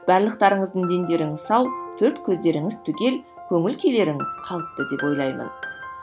барлықтарыңыздың дендеріңіз сау төрт көздеріңіз түгел көңіл күйлеріңіз қалыпты деп ойлаймын